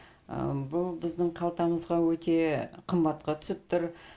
бұл біздің қалтамызға өте қымбатқа түсіп тұр